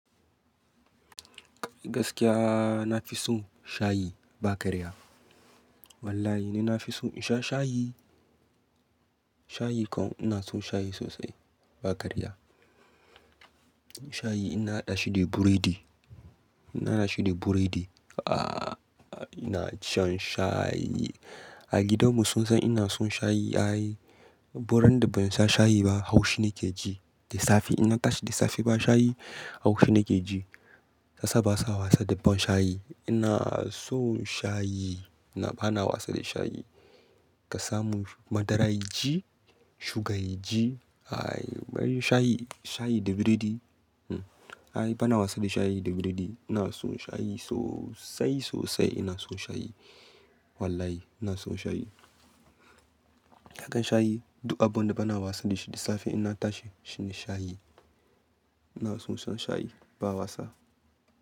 Gaskiya na fi son shayi ba ƙarya. Wallahi nina fi son insha shayi. Shayi kam ina son shayi sosai ba ƙarya. Shayi inna haɗa shi da biredi. Ina hada shi da burodi. Ina shan shayi. A gidanmu sunsan ina son shayi, Duk randa bansha shayi ba haushi nake ji. Da safe inna tashi da safe ba shayi haushi nake ji. Shi yasa basa wasa da ban shayi. Ina son shayi. Bana wasa da shayi. Ka samun madara yaji, sugar yaji. Shayi, shayi da biredi. Ba na wasa da shayi da biredi. Ina son shayi sosai sosai ina son shayi. Wallahi ina son shayi. Haka shayi duk abunda ba na wasa da shi da safe inna tashi shine shayi. Ina son shan shayi ba wasa.